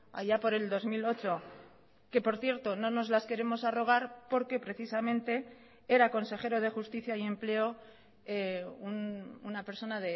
allá por el dos mil ocho que por cierto no nos las queremos arrogar porque precisamente era consejero de justicia y empleo una persona